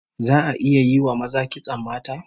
Za'a iya yi wa maza kitson mata?